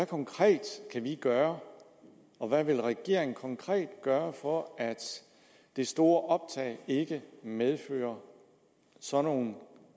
konkret gøre og hvad vil regeringen konkret gøre for at det store optag ikke medfører sådan nogle